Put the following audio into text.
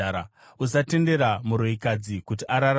“Usatendera muroyikadzi kuti ararame.